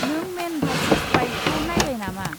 नों man versus वाइल्डखौ नायबाय नामा?